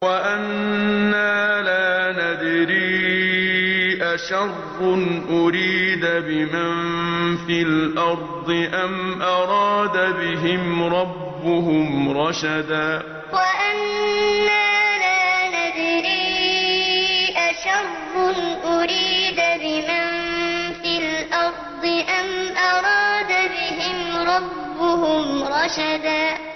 وَأَنَّا لَا نَدْرِي أَشَرٌّ أُرِيدَ بِمَن فِي الْأَرْضِ أَمْ أَرَادَ بِهِمْ رَبُّهُمْ رَشَدًا وَأَنَّا لَا نَدْرِي أَشَرٌّ أُرِيدَ بِمَن فِي الْأَرْضِ أَمْ أَرَادَ بِهِمْ رَبُّهُمْ رَشَدًا